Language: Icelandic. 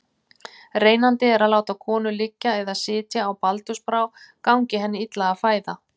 Reynandi er að láta konu liggja eða sitja á baldursbrá gangi henni illa að fæða.